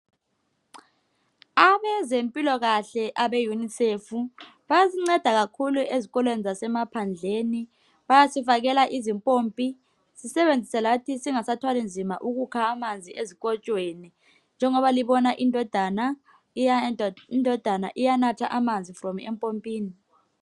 Abezempilokahle abe yunisefu bayasinceda kakhulu ezikolweni zasemaphandleni bayasifakela izimpompi sisebenzise lathi singasathwali nzima ukukha amanzi ezikotshweni njengoba libona indodana iya indodana iyanatha manzi from empompini.